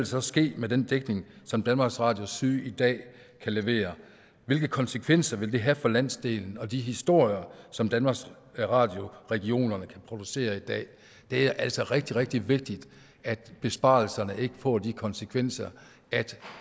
så ske med den dækning som danmarks radio syd i dag kan levere hvilke konsekvenser vil det have for landsdelen og de historier som danmarks radio regionerne kan producere i dag det er altså rigtig rigtig vigtigt at besparelserne ikke får de konsekvenser at